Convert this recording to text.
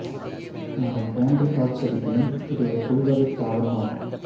மரம் போன்று காட்சியளிப்பினும் இது ஒரு புல்வகைத் தாவரம் ஆகும்